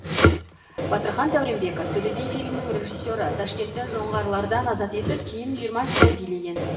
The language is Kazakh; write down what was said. батырхан дәуренбеков төле би фильмінің режиссері ташкентті жоңғарлардан азат етіп кейін жиырма жылдай билеген